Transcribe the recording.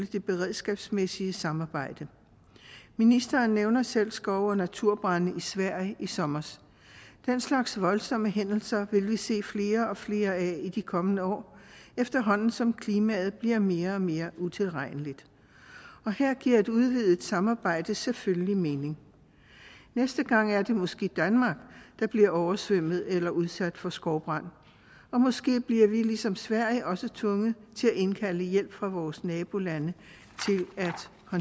det beredskabsmæssige samarbejde ministeren nævner selv skov og naturbrande i sverige i sommer den slags voldsomme hændelser vil vi se flere og flere af i de kommende år efterhånden som klimaet bliver mere og mere utilregneligt og her giver et udvidet samarbejde selvfølgelig mening næste gang er det måske danmark der bliver oversvømmet eller udsat for skovbrand og måske bliver vi ligesom sverige også tvunget til at indkalde hjælp fra vores nabolande